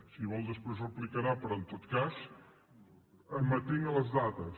si vol després replicarà però en tot cas m’atinc a les dades